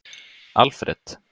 Alfred